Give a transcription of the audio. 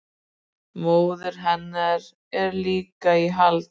Móðir hennar er líka í haldi